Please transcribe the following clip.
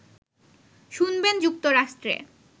শুনবেন যুক্তরাষ্ট্রে